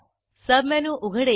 submenu उघडेल